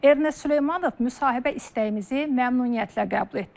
Ernest Süleymanov müsahibə istəyimizi məmnuniyyətlə qəbul etdi.